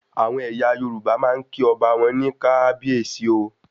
Àwọn ẹyà Yorùbá máa ń kí ọba wọn ní "kabiesi o"